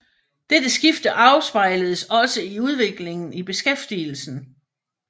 Dette skifte afspejledes også i udviklingen i beskæftigelsen